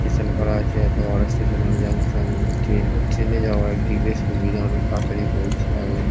Station করা আছে এতো বড় স্টেশন হল জংশন ট্রেন ট্রেন -এ যাওয়া একদিক দিয়ে সুবিধা অনেক তাড়াতাড়ি পৌঁছে যাবে ।